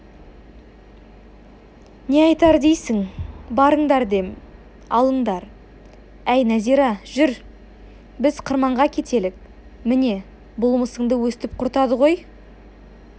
не айтар дейсің барыңдар дем алыңдар әй нәзира жүр біз қырманға кетелік міне бұл мысыңды өстіп құртады ғой